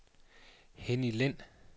Henny Lind